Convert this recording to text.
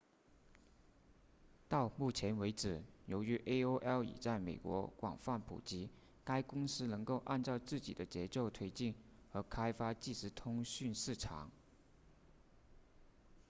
到目前为止由于 aol 已在美国广泛普及该公司能够按照自己的节奏推进和开发即时通讯市场